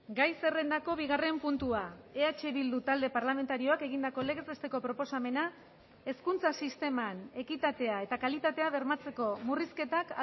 gai zerrendako bigarren puntua eh bildu talde parlamentarioak egindako legez besteko proposamena hezkuntza sisteman ekitatea eta kalitatea bermatzeko murrizketak